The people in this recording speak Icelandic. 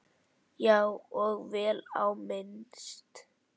Já, og vel á minnst.